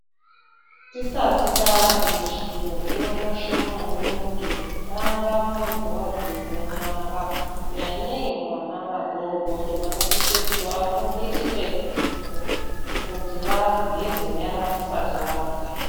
Tisati tarye chiro zvinokosha maningi kutanga muntu vageze nyara. Nyanyei kuvana vadodori vanosisa kuti vafundoswe kuti vageze nyara vasati varya.